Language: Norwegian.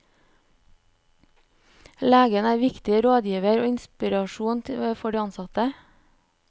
Legen er viktig rådgiver og inspirator for de ansatte.